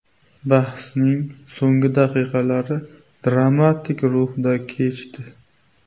Bahsning so‘nggi daqiqalari dramatik ruhda kechdi.